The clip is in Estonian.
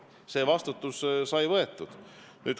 See vastutus on võetud.